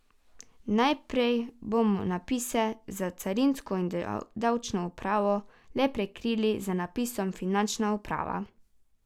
Najprej bomo napise za carinsko in davčno upravo le prekrili z napisom finančna uprava.